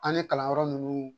An ye kalanyɔrɔ nunnu